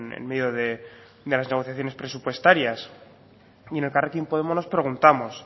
en medio de las negociaciones presupuestarias y en elkarrekin podemos nos preguntamos